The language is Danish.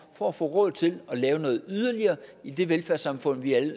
for at få råd til at lave noget yderligere i det velfærdssamfund vi alle